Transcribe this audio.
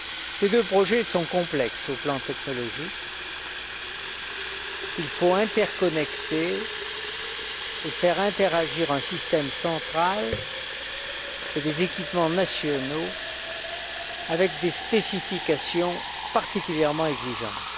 Ces deux projets sont complexes au plan technologique. Il faut interconnecter et faire interagir un système central et des équipements nationaux avec des spécifications particulièrement exigeantes.